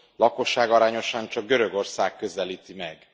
Lakosságarányosan csak Görögország közelíti meg.